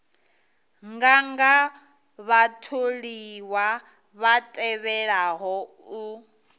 nganga vhatholiwa vha tevhelaho u